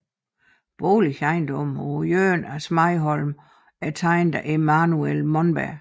Boligejendommen på hjørnet af Smedeholmen er tegnet af Emanuel Monberg